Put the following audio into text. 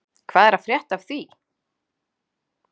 Hvað er að frétta af því?